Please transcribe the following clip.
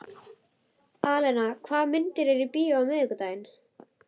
Alena, hvaða myndir eru í bíó á miðvikudaginn?